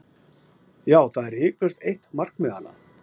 Já, það er hiklaust eitt markmiðanna.